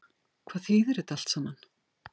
Hvað þýðir þetta allt saman